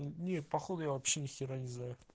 нет походу я вообще нехера не за